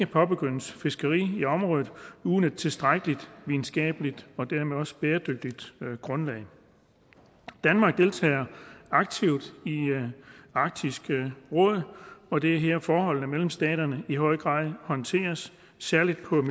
påbegyndes fiskeri i området uden et tilstrækkeligt videnskabeligt og dermed også bæredygtigt grundlag danmark deltager aktivt i arktisk råd og det er her at forholdene mellem staterne i høj grad håndteres særlig på